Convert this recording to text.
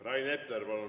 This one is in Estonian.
Rain Epler, palun!